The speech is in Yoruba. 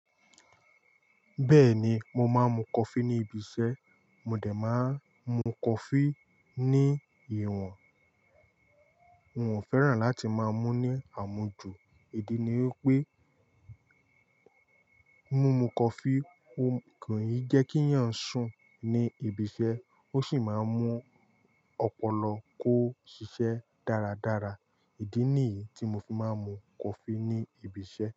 Bẹ́ẹ̀ni, mo máa ń mu coffee ní ibi iṣẹ́, mo dẹ̀ máa ń mu coffee ní ìwòn. N ò fẹ́ràn láti máa mú ní àmọ̀jú. Idi ni wipé, mumu coffee o m-- kò ijẹ́ kíyàn sùn ní ibi iṣẹ́ ó sì máa ń mú ọpọlọ kó ṣiṣẹ́ dáradára. Idi nìyí tí mo fi máa ń mu coffee ní ibi iṣẹ́.